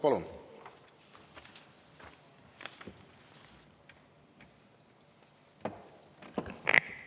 Palun!